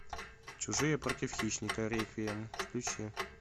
чужие против хищника реквием включи